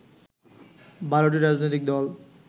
১২টি রাজনৈতিক দল